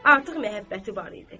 Artıq məhəbbəti var idi.